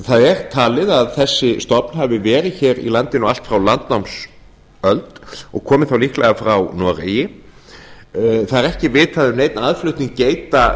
það er talið að þessi stofn hafi verið í landinu allt frá landnámsöld og komi þá líklega frá noregi það er ekki vitað um neinn aðflutning geita